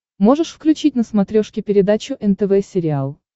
можешь включить на смотрешке передачу нтв сериал